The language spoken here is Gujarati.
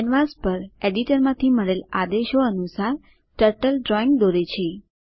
કેનવાસ પર એડિટરમાંથી મળેલ આદેશો અનુસાર ટર્ટલ ડ્રોઈંગ દોરે છે